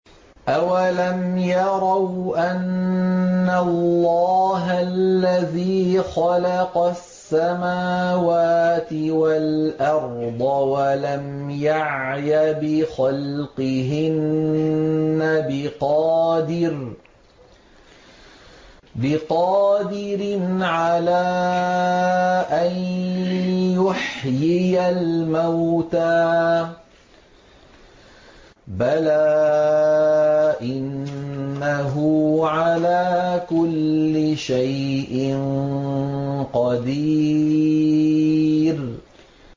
أَوَلَمْ يَرَوْا أَنَّ اللَّهَ الَّذِي خَلَقَ السَّمَاوَاتِ وَالْأَرْضَ وَلَمْ يَعْيَ بِخَلْقِهِنَّ بِقَادِرٍ عَلَىٰ أَن يُحْيِيَ الْمَوْتَىٰ ۚ بَلَىٰ إِنَّهُ عَلَىٰ كُلِّ شَيْءٍ قَدِيرٌ